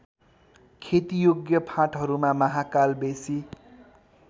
खेतीयोग्य फाँटहरूमा महाकालबेसी